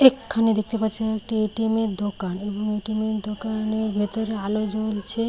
এখানে দেখতে পাচ্ছি একটি এ.টি.এম. এর দোকান এবং এ.টি.এম . এর দোকানের ভেতরে আলো জ্বলছে।